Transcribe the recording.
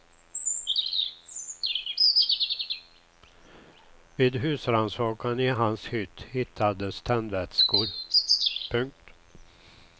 Vid husrannsakan i hans hytt hittades tändvätskor. punkt